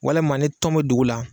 Walima ne tɔn bɛ dugu la